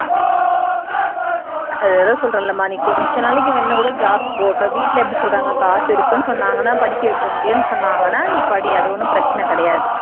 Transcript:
அத தான் சொல்றேன் இல்லம்மா நீ கொஞ்ச நாளைக்கு வேணும்னா கூட job இப்போ வீட்ல எப்படி சொல்றாங்க காசு இருக்குன்னு சொன்னாங்கன்னா படிக்க வைக்க முடியும்னு சொன்னாங்கன்னா நீ படி அது ஒன்னும் பிரச்சனை கிடையாது